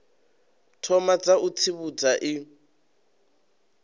thoma dza u tsivhudza i